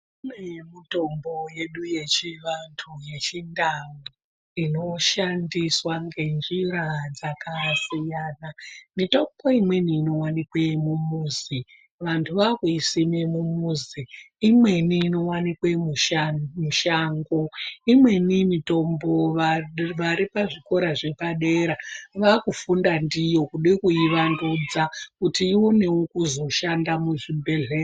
Kune mitombo yedu yechivantu yechindau inoshandiswa ngenjira dzakasiyana mitombo imweni inowanikwe mumuzi vantu vaakuisima mumuzi imweni inowanikwa mushango imweni mitombo varipazvikora zviripadera vakufunda ndiyo kuda kuiwandudza kuti ionewo kuzoshanda muzvibhehleya.